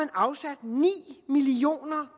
afsat ni million